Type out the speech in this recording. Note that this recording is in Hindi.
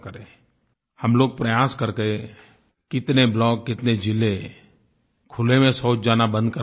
हम लोग प्रयास करके कितने ब्लॉक कितने जिले खुले में शौच जाना बंद करवा सकते हैं